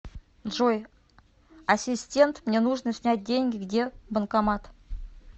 джой ассистент мне нужно снять деньги где банкомат